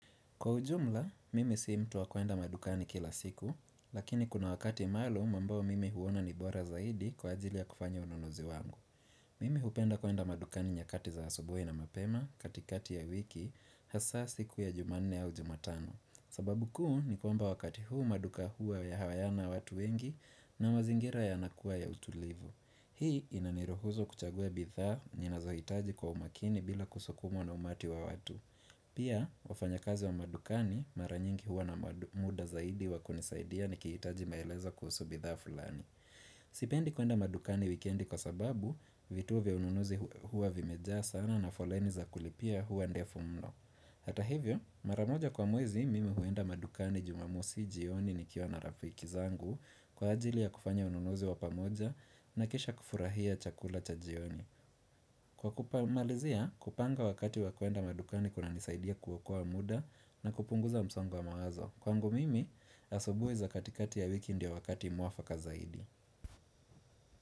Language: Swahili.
Kwa ujumla, mimi si mtu wa kwenda madukani kila siku, lakini kuna wakati maalumu ambao mimi huona ni bora zaidi kwa ajili ya kufanya ununuzi wangu. Mimi hupenda kwenda madukani nyakati za asubuhi na mapema katikati ya wiki hasa siku ya jumanne au jumatano. Sababu kuu ni kwamba wakati huu maduka huwa hayana watu wengi na mazingira yanakuwa ya utulivu. Hii inaniruhusu kuchagua bidhaa nina zohitaji kwa umakini bila kusukumwa na umati wa watu. Pia, wafanya kazi wa madukani maranyingi huwa na muda zaidi wakunisaidia nikihitaji maelezo kuhusu bidhaa fulani. Sipendi kwenda madukani wikiendi kwa sababu, vituo vya ununuzi huwa vimejaa sana na foleni za kulipia huwa ndefu mno Hata hivyo, maramoja kwa mwezi mimi huenda madukani jumamosi jioni nikiwa na rafiki zangu kwa ajili ya kufanya ununuzi wa pamoja na kisha kufurahia chakula cha jioni. Kwa kumalizia, kupanga wakati wakwenda madukani kuna nisaidia kuokoa muda na kupunguza msongo wa mawazo Kwangu mimi, hasubuhi za katikati ya wiki ndiyo wakati muafaka zaidi.